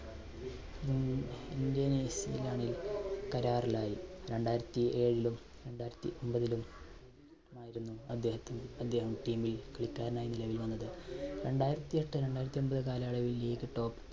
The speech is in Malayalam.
ഇന്തോനേഷ്യയുമായി കരാറിലായി. രണ്ടായിരത്തി ഏഴിലും, രണ്ടായിരത്തി ഒൻപതിലും ആയിരുന്നു അദ്ദേഹത്തിൻ, അദ്ദേഹം team ൽ കളിക്കാരനായി നിലവിൽ വന്നത്. രണ്ടായിരത്തിഎട്ട് രണ്ടായിരത്തി ഒൻപത് കാലയളവിൽ league top